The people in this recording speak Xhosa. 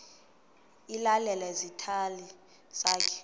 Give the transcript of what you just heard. ilale esitalini sakho